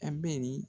A bɛ nin